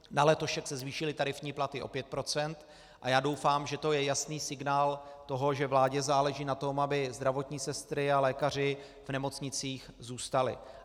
Na letošek se zvýšily tarifní platy o 5 % a já doufám, že to je jasný signál toho, že vládě záleží na tom, aby zdravotní sestry a lékaři v nemocnicích zůstali.